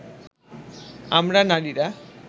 আমরা নারীরা